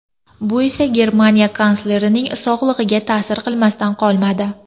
Bu esa Germaniya kanslerining sog‘lig‘iga ta’sir qilmasdan qolmadi.